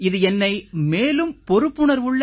இது என்னை மேலும் பொறுப்புணர்வுள்ள